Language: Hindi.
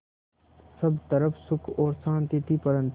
सब तरफ़ सुख और शांति थी परन्तु